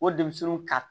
O denmisɛnninw ka